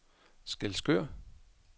Skælskør